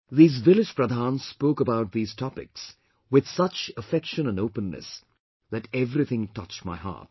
These village Pradhans spoke about these topics with such affection and openness that everything touched my heart